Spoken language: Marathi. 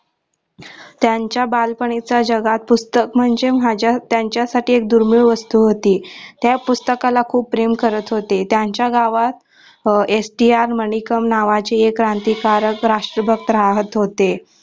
त्यांच्या बालपणीच्या जगात पुस्तक म्हणजे माझ्या त्यांचा साठी दुर्मिळ वस्तू होती त्या पुस्तकाला खूप प्रेम करत होते त्यांचा गावात S. T. R. मानिकम्म नावाचे एक क्रांतीकारक राष्ट्रभक्त राहत होते.